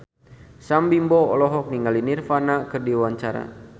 Sam Bimbo olohok ningali Nirvana keur diwawancara